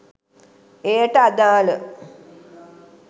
එයට අදාල